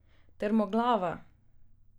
Trmoglava!